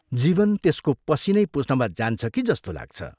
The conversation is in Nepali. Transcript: जीवन त्यसको पसीनै पुछ्नमा जान्छ कि जस्तो लाग्छ।